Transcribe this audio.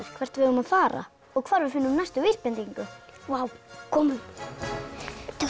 hvert við eigum að fara og hvar við finnum næstu vísbendingu komum taktu